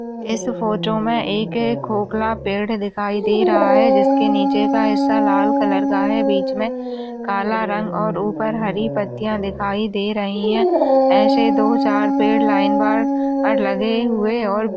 इस फोटो मे एक खोखला पेड दिखाई दे रहा है। जिस के नीचे का हिस्सा लाल कलर का है। बीच मे काला रंग और ऊपर हरी पत्तिया दिखाई दे रही है। एसे दो चार पेड लाइन बार लगे हुवे और--